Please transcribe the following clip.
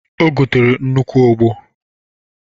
O gotere nnukwu ogbo.